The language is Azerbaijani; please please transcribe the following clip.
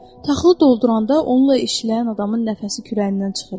Taxıl dolduranda onunla işləyən adamın nəfəsi kürəyindən çıxırdı.